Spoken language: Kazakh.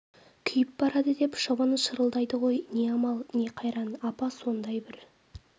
күйіп барады деп шыбыны шырылдайды ғой не амал не қайран апа сондай бір